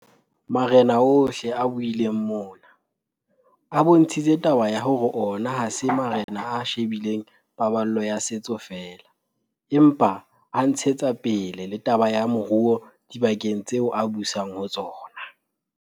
Marena ohle a buileng mona, a bontshitse taba ya hore ona ha se marena a she bileng paballo ya setso feela, empa a ntshetsa pele le taba ya moruo dibakeng tseo a busang ho tsona.